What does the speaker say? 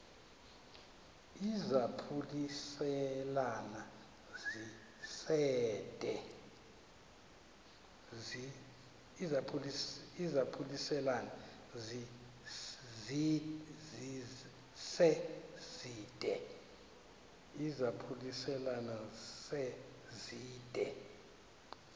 izaphuselana se zide